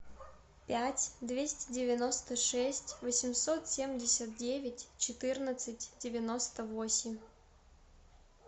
пять двести девяносто шесть восемьсот семьдесят девять четырнадцать девяносто восемь